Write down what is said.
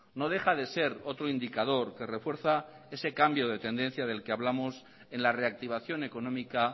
no deja de ser otro indicador que refuerza ese cambio de tendencia del que hablamos en la reactivación económica